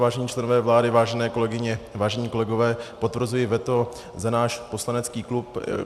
Vážení členové vlády, vážené kolegyně, vážení kolegové, potvrzuji veto za náš poslanecký klub.